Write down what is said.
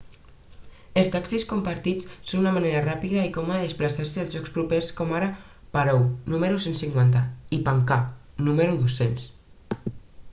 els taxis compartits són una manera ràpida i còmoda de desplaçar-se a llocs propers com ara paro nu 150 i panakha nu 200